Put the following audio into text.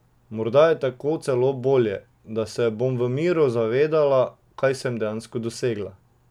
Morda je tako celo bolje, da se bom v miru zavedala, kaj sem dejansko dosegla.